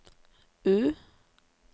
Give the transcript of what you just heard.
U